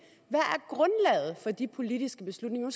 hvad de politiske beslutninger